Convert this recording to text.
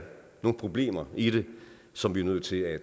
nogle problemer i det som vi er nødt til at